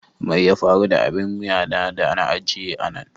Mai ya faru da abin wuya da na ajiye a nan?